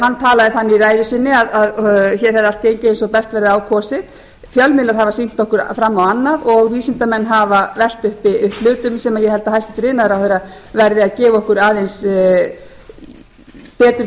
hann talaði þannig í ræðu sinni að hér hefði allt gengið eins og best hefði á kosið fjölmiðlar hafa sýnt okkur fram á annað og vísindamenn hafa velt upp hlutum sem ég held að hæstvirtur iðnaðarráðherra verði að gefa okkur aðeins betur grein